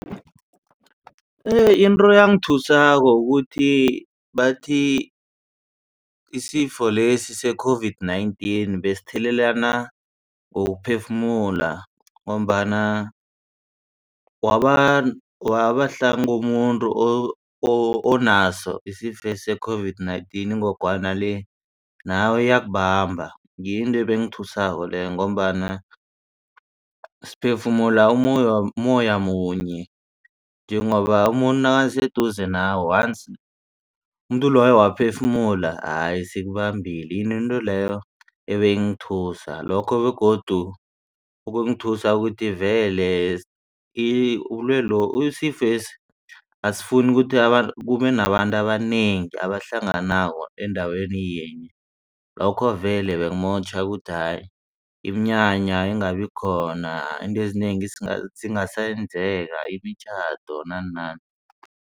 Into eyangithusako bathi ukuthi isifo lesi se-COVID-19 besithelelana ngokuphefumula ngombana wabahlanu komuntu onaso isifo se-COVID-19 ingogwana le. Nawe iyakubamba ngiyo into ebengiyithusa leyo ngombana siphefumula ummoya munye njengoba umuntu nakaseduze nawe once umuntu loyo waphefumula hayi seyikubambile into leyo ebeyingithusa lokho begodu kumthusa ukuthi vele isifesi asifuni kube nabantu abanengi abahlanganako endaweni yinye. Lokho vele bekumotjha ukuthi hayi iminyanya ingabi khona izinto ezinengi zingasenzeka imitjhado nanani.